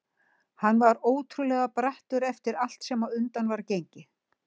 Hann var ótrúlega brattur eftir allt sem á undan var gengið.